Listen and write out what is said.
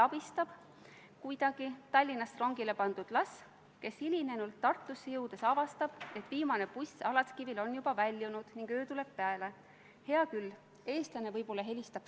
Kas ma sain teie vastusest õigesti aru, et Mali režiimi sõjakuriteod ja põlisrahvaste allasurumine ei ole olulised teemad selles küsimuses, kuna maailm ei ole mustvalge?